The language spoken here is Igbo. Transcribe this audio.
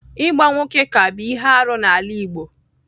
Ịgba nwoke ka bụ ihe arụ n'ala Igbo.